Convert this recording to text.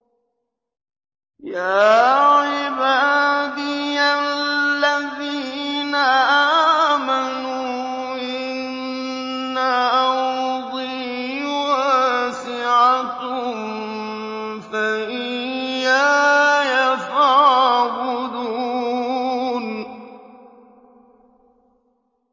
يَا عِبَادِيَ الَّذِينَ آمَنُوا إِنَّ أَرْضِي وَاسِعَةٌ فَإِيَّايَ فَاعْبُدُونِ